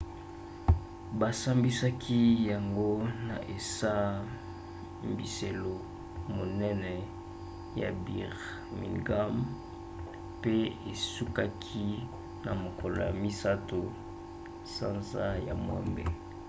basambisaki yango na esambiselo monene ya birmingham pe esukaki na mokolo ya 3 sanza ya mwambe